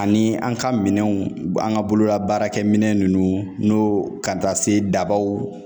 Ani an ka minɛnw an ka bolola baarakɛminɛn ninnu n'o ka taa se dabaw